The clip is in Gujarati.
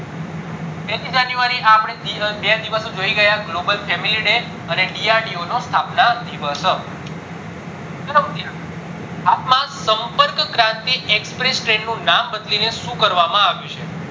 પેલી january આ અપડે બે દિવસ જોઈ ગયા global family day અને DRDO નો સ્થાપના દિવસ હાલ માં સંપર્ક ક્રાંતિ express train નું નામ બદલીને શું કરવામાં આવ્યું છે